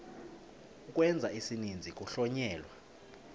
ukwenza isininzi kuhlonyelwa